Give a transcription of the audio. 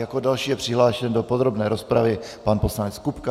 Jako další je přihlášen do podrobné rozpravy pan poslanec Kupka.